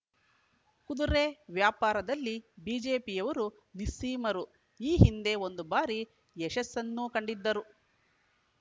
ಕುದುರೆ ವ್ಯಾಪಾರದಲ್ಲಿ ಬಿಜೆಪಿಯವರು ನಿಸ್ಸೀಮರು ಈ ಹಿಂದೆ ಒಂದು ಬಾರಿ ಯಶಸ್ಸನ್ನೂ ಕಂಡಿದ್ದರು